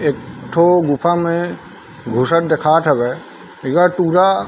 एक ठो गुफा में घुसत देखात हवय एक ठो टूरा--